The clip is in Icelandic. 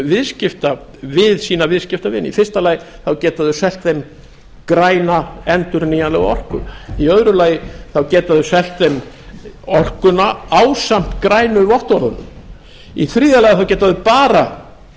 viðskipta við sína viðskiptavini í fyrsta lagi geta þau selt þeim græna endurnýjanlega orku í öðru lagi þá geta þau selt þeim orkuna ásamt grænu vottorðunum í þriðja lagi geta þau bara